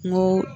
N ko